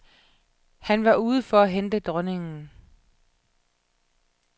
Han var ude for at hente dronningen.